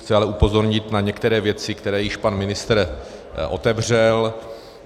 Chci ale upozornit na některé věci, které již pan ministr otevřel.